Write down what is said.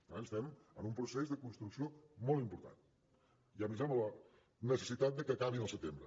per tant estem en un procés de construcció molt important i a més amb la la necessitat de que acabin al setembre